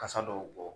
Kasa dɔw bɔ